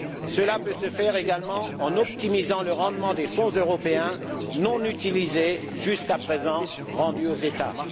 Cela peut se faire également en optimisant le rendement des Fonds européens non utilisés jusqu'à présent et rendus aux États.